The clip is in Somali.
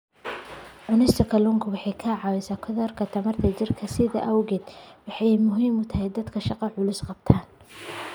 Cunista kalluunku waxa ay caawisaa korodhka tamarta jidhka, sidaas awgeed waxa ay muhiim u tahay dadka shaqo culus qabta.